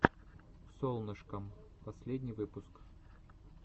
солнышкам последний выпуск